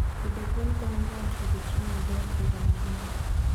Pidho gwen konyo joot yudo chiemo maber higa mangima.